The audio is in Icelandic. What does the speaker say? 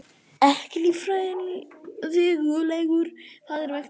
Ekki líffræðilegur faðir vegna mistaka